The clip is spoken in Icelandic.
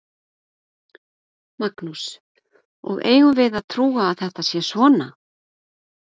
Magnús: Og eigum við að trúa að þetta sé svona?